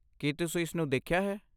ਕੀ ਤੁਸੀਂ ਇਸਨੂੰ ਦੇਖਿਆ ਹੈ?